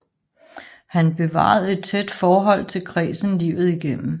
Han bevarede et tæt forhold til kredsen livet igennem